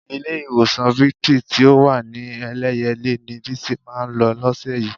Ilé-ìwòsàn Victory tí ó wà ní Ẹlẹ́yẹlé ni Bísí máa lọ lọ́sẹ̀ yìí.